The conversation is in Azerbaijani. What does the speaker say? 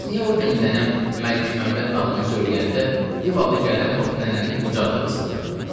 bəs niyə o gün nənəm Məlik Məmməd nağılını söyləyəndə div adı gələn vaxt nənənin qucağına qısıldın?”